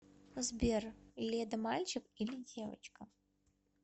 сбер леда мальчик или девочка